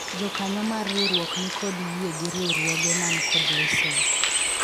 jokanyo mar riwruok nikod yie gi riwruoge man kod lesen